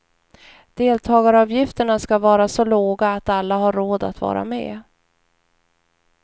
Deltagaravgifterna ska vara så låga att alla har råd att vara med.